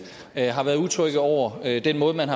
har været utrygge over den måde man